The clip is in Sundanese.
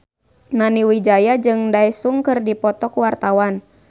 Nani Wijaya jeung Daesung keur dipoto ku wartawan